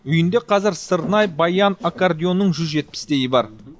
үйінде қазір сырнай баян аккордеонның жүз жетпістейі бар